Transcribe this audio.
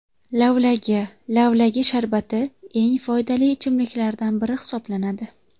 Lavlagi Lavlagi sharbati eng foydali ichimliklardan biri hisoblanadi.